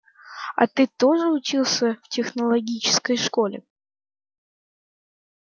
а ты тоже учился в технологической школе